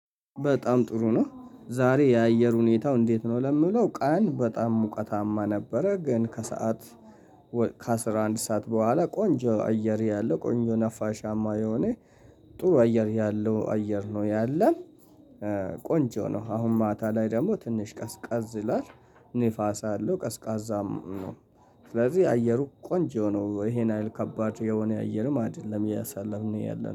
በጣም ጥሩ ነው ዛሬ የአየር ሁኔታው እንዴት ነው? ለምለው ቀን በጣም ሙቀታማ ነበረ። ግን ከሰአት ከአስራ አንድ ሰዓት በኋላ ቆንጆ አየር ያለው ቆንጆ ነፋሻማ የሆነ ጥሩ አየር ያለው አየር ነው። ያለ ቆንጆ ነው። አሁን ማታ ላይ ደግሞ ትንሽ ቀዝቀዝ ይላል። ንፋስ አለው ቀዝቃዛም ነው። ስለዚህ አየሩ ቆንጆ ነው ይሄንያሀል ከባድ የሆነ አየርም አይደለም አያሳለፍን ያለነው